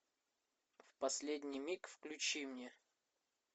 в последний миг включи мне